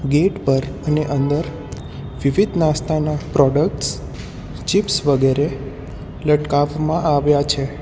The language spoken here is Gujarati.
ગેટ પર અને અંદર વિવિધ નાસ્તાના પ્રોડક્ટસ ચિપ્સ વગેરે લટકાફમાં આવ્યા છે.